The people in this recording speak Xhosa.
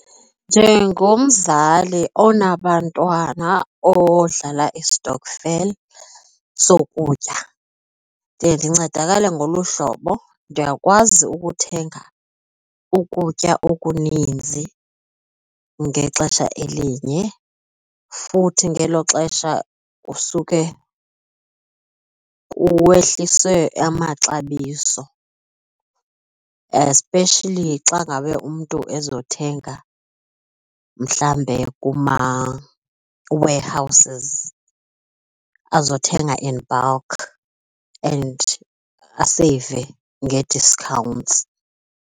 Njengomzali onabantwana odlala istokfela sokutya ndiye ndincedakala ngolu hlobo, ndiyakwazi ukuthenga ukutya okuninzi ngexesha elinye futhi ngelo xesha kusuke kuwehliswe amaxabiso, especially xa ngabe umntu ezothenga mhlawumbe kuma-warehouses, azothenga in bulk and aseyive ngee-discounts.